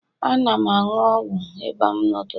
Ana m aṅụ ọgwụ ịba m n'ụtụtụ.